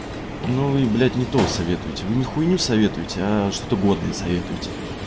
ну вы блять не то советуйте вы не хуйню советуйте а что-то годное советуйте